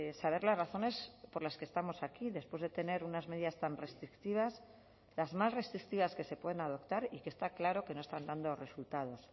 saber las razones por las que estamos aquí después de tener unas medidas tan restrictivas las más restrictivas que se pueden adoptar y que está claro que no están dando resultados